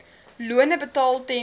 lone betaal ten